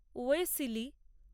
ওয়েসিলি